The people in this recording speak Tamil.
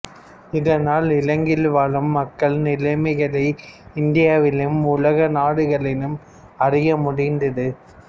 இதனால் இலங்கையில் வாழும் மக்கள் நிலைமைகளை இந்தியாவிலும் உலக நாடுகளிலும் அறிய முடிந்தது